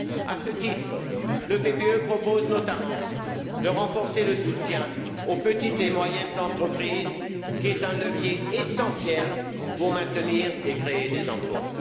À ce titre, le PPE propose notamment de renforcer le soutien aux petites et moyennes entreprises, qui sont un levier essentiel pour maintenir et créer des emplois.